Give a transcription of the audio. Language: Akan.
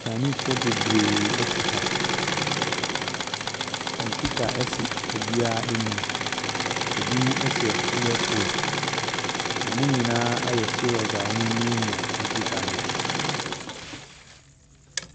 Kyaeniisfoɔ bebree ɛte ha, kɔmputa ɛsi obiaa anim, ebimo ɛhyɛ iɛ fon, ɔmo nyinaa ayɛ siirɔs a ɔmoo miamia kɔmputa no so.